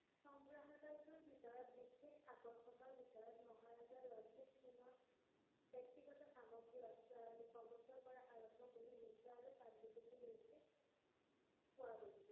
সংগ্ৰাহালয়টোৰ ভিতৰত বিশেষ আকৰ্ষণৰ ভিতৰত মহাৰজা ৰঞ্জিত সিঙৰ ব্যক্তিগত সামগ্ৰী, অস্ত্ৰ, আৰু কবচৰপৰা আৰম্ভ কৰি মুদ্ৰা আৰু পাণ্ডুলিপি লৈকে পোৱা গৈছিল।